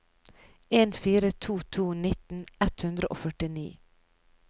en fire to to nitten ett hundre og førtini